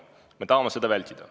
Me tahame seda vältida.